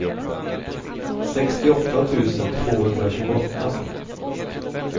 sextioåtta tusen tvåhundratjugoåtta